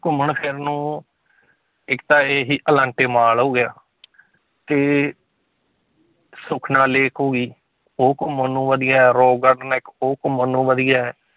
ਘੁੰਮਣ ਫਿਰਨ ਨੂੰ ਇੱਕ ਤਾਂ ਇਹੀ ਅਲਾਂਟੇ ਮਾਲ ਹੋ ਗਿਆ ਤੇ ਸੁਖਨਾ lake ਹੋ ਗਈ, ਉਹ ਘੁੰਮਣ ਨੂੰ ਵਧੀਆ ਹੈ rock garden ਹੈ ਇੱਕ ਉਹ ਘੁੰਮਣ ਨੂੰ ਵਧੀਆ ਹੈ,